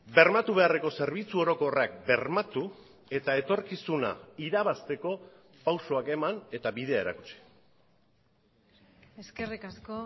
bermatu beharreko zerbitzu orokorrak bermatu eta etorkizuna irabazteko pausuak eman eta bidea erakutsi eskerrik asko